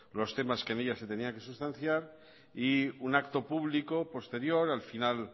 los temas que en ella se tenían que sustanciar y un acto público posterior al final